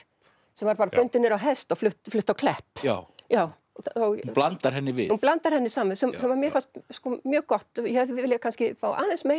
sem var bara bundin niður á hest og flutt flutt á Klepp já já hún blandar henni við hún blandar henni saman sem mér fannst mjög gott ég hefði viljað fá aðeins meira